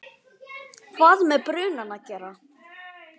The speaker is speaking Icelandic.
hvað með brunann að gera.